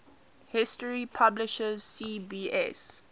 history publisher cbs